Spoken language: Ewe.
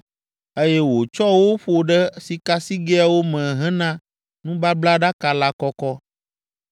eye wòtsɔ wo ƒo ɖe sikasigɛawo me hena nubablaɖaka la kɔkɔ.